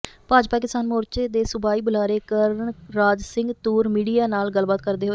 ਭਾਜਪਾ ਕਿਸਾਨ ਮੋਰਚੇ ਦੇ ਸੂਬਾਈ ਬੁਲਾਰੇ ਕਰਨਰਾਜ ਸਿੰਘ ਤੂਰ ਮੀਡੀਆ ਨਾਲ ਗੱਲਬਾਤ ਕਰਦੇ ਹੋਏ